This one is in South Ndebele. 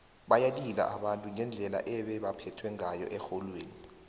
bayalila abantu ngendlela ebebaphethwe ngayo erholweni